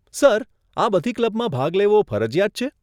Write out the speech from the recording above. Sir, આ બધી ક્લબમાં ભાગ લેવો ફરજીયાત છે?